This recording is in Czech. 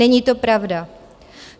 Není to pravda.